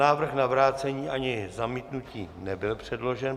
Návrh na vrácení ani zamítnutí nebyl předložen.